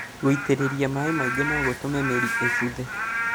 Gũitĩrĩria maĩ maingĩ nogũtũme mĩri ĩbuthe